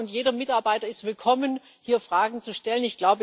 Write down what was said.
Jeder Mitarbeiter ist willkommen, hier Fragen zu stellen.